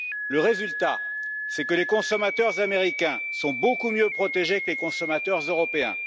Le résultat, c'est que les consommateurs américains sont beaucoup mieux protégés que les consommateurs européens.